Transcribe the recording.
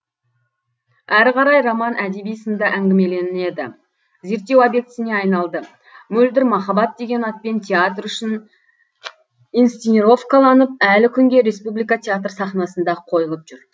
әрі қарай роман әдеби сында әңгімеленеді зерттеу объектісіне айналды мөлдір махаббат деген атпен театр үшін инсценировкаланып әлі күнге республика театр сахнасында қойылып жүр